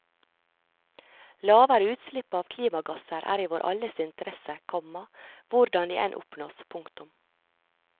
Lavere utslipp av klimagasser er i vår alles interesse, komma hvordan de enn oppnås. punktum